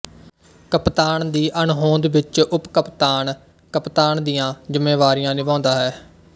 ਕਪਤਾਨ ਦੀ ਅਣਹੋਂਦ ਵਿੱਚ ਉਪਕਪਤਾਨ ਕਪਤਾਨ ਦੀਆਂ ਜ਼ਿੰਮੇਵਾਰੀਆਂ ਨਿਭਾਉਂਦਾ ਹੈ